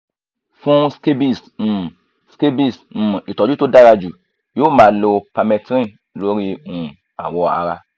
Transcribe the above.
fún scabies um scabies um ìtọ́jú tó dára jù yóò máa lo permethrin lórí um awọ ara